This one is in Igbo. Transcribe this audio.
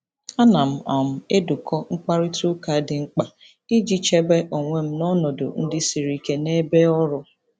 Ana m um edekọ mkparịta ụka dị mkpa iji chebe onwe m n'ọnọdụ ndị siri ike n'ebe ọrụ.